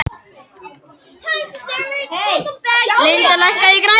Lydia, lækkaðu í græjunum.